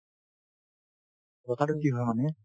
কথাটো কি হয় মানে